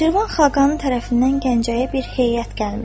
Şirvan xaqanının tərəfindən Gəncəyə bir heyət gəlmişdi.